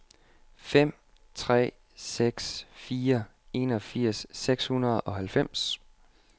fem tre seks fire enogfirs seks hundrede og halvfems